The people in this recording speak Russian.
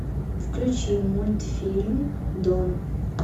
включи мультфильм дом